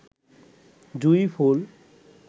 জুঁই ফুল